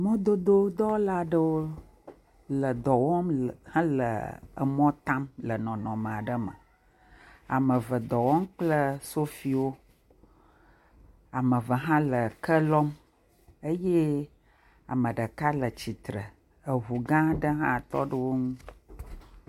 Mɔdodo dɔwɔla aɖewo le dɔwɔm le mɔ tam le nɔnɔ aɖe me. Ame eve ɖɔwɔm kple sofiwo. Ame eve hã le ke lɔm eye ame eve hã le tsitre. Eŋu ga aɖe hã tɔ ɖe wo ŋu.